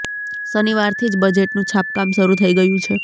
શનિવારથી જ બજેટનું છાપકામ શરુ થઇ ગયું છે